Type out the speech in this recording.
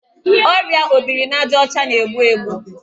Ọrịa obirinajaọcha na-egbu egbu